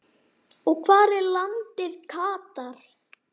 og Hvar er landið Katar?